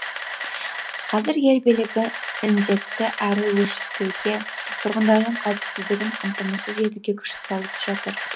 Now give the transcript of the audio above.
қазір ел билігі індетті әрі қарай өршітпеуге тұрғындардың қауіпсіздігін қамтамасыз етуге күш салып жатыр